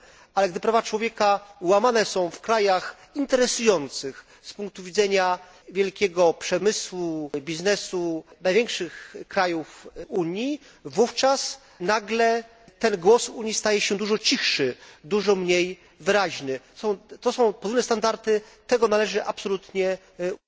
Ale gdy prawa człowieka łamane są w krajach interesujących z punktu widzenia wielkiego przemysłu, biznesu, największych krajów Unii, wówczas nagle ten głos Unii staje się dużo cichszy, dużo mniej wyraźny. To są podwójne standardy, tego należy absolutnie unikać.